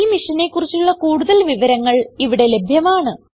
ഈ മിഷനെ കുറിച്ചുള്ള കുടുതൽ വിവരങ്ങൾ ഇവിടെ ലഭ്യമാണ്